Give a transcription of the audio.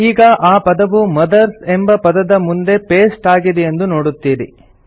ಈಗ ಆ ಪದವು ಮದರ್ಸ್ ಎಂಬ ಪದದ ಮುಂದೆ ಪೇಸ್ಟ್ ಆಗಿದೆಯೆಂದು ನೋಡುತ್ತೀರಿ